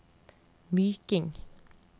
Myking